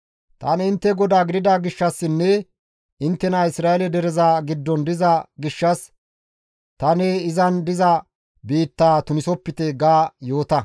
Tani intte GODAA gidida gishshassinne inttenara Isra7eele dereza giddon diza gishshas tani izan diza biittaa tunisopite› ga yoota.»